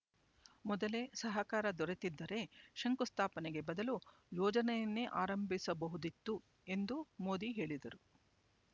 ಮೊದಲೇ ಸಹಕಾರ ದೊರೆತಿದ್ದರೆ ಶಂಕು ಸ್ಥಾಪನೆಗೆ ಬದಲು ಯೋಜನೆಯನ್ನೇ ಆರಂಭಿಸಬಹುದಿತ್ತು ಎಂದು ಮೋದಿ ಹೇಳಿದರು